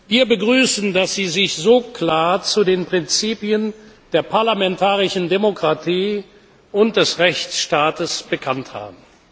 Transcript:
Wir begrüßen, dass Sie sich so klar zu den Prinzipien der parlamentarischen Demokratie und des Rechtsstaats bekannt haben.